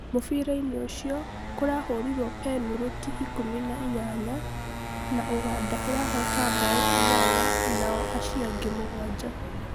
mũbira-inĩ ũcio, kũrahurirwo penũrũtĩ ikũmi na inyanya na Uganda irahota mbao inyanya nao aciangĩ mũgwanja